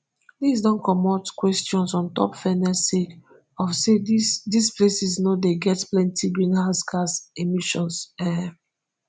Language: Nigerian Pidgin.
dis don comot questions on top fairness sake of say dis dis places no dey get plenti greenhouse gas emissions um